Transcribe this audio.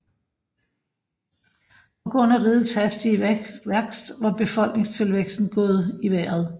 På grund af rigets hastige værkst var befolkningstilvæksten gået i vejret